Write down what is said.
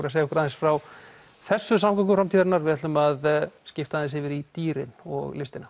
að segja okkur aðeins frá þessum samgöngum framtíðarinnar við ætlum að skipta aðeins yfir í dýrin og listina